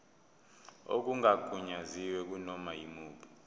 okungagunyaziwe kunoma yimuphi